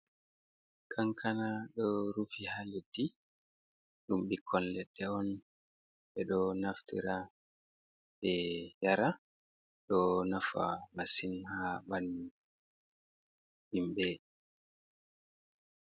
Kankana ɗo rufi ha leɗɗi. Ɗum ɓikkoi leɗɗe on. Ɓe ɗo naftira ɓe yara. Ɗo nafa masin ha ɓalli himɓe.